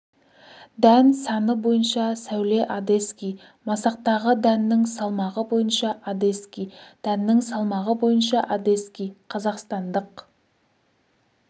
дән саны бойынша сәуле одесский масақтағы дәннің салмағы бойынша одесский дәннің салмағы бойынша одесский қазақстандық